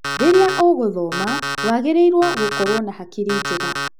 Rĩrĩa ũgũthoma wagĩrĩirwo gũkoragwo na hakiri njega.